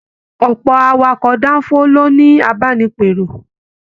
Ọpọ awakọ̀ danfo lo ni abánipèrò.